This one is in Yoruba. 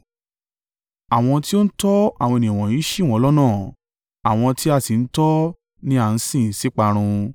Àwọn tí ó ń tọ́ àwọn ènìyàn wọ̀nyí ṣì wọ́n lọ́nà, àwọn tí a sì tọ́ ni a ń sin sí ìparun.